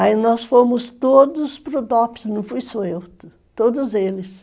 Aí nós fomos todos para o dopis, não fui só eu, todos eles.